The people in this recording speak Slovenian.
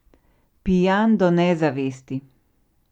Pijan do nezavesti.